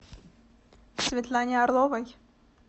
светлане орловой